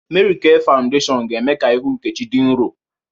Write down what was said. Mary K fawudeshiọn ga-eme ka ihu Nkechi dị nrọ